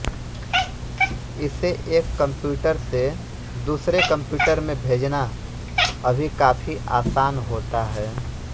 इसे एक कंप्यूटर से दूसरे कंप्यूटर में भेजना अभी काफी आसान होता है